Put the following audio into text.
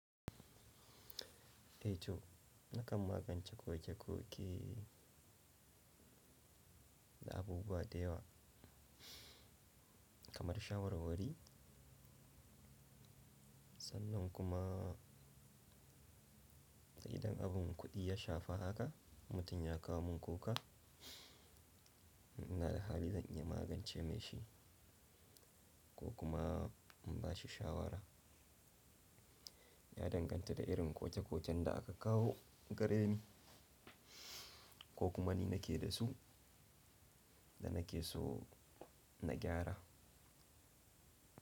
E to, na kan magance koke-koke da abubuwa da yawa kamar shawara wuri. Sannan kuma sai idan abin kuɗi ya shafa haka, mutum ya kawo min kuka, ina da hali zan iya magance mai shi ko kuma in ba shi shawara. Ya danganta da irin koke-koken da aka kawo gare ni ko kuma ni nake da su da nake so na gyara.